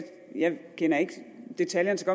kender ikke detaljerne så